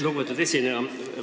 Lugupeetud esineja!